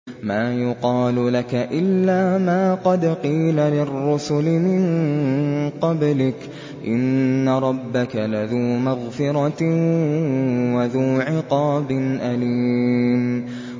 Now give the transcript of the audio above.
مَّا يُقَالُ لَكَ إِلَّا مَا قَدْ قِيلَ لِلرُّسُلِ مِن قَبْلِكَ ۚ إِنَّ رَبَّكَ لَذُو مَغْفِرَةٍ وَذُو عِقَابٍ أَلِيمٍ